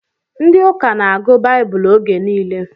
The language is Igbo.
Ndị ụka na-agụ baibulu oge nile